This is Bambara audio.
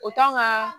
O kan ka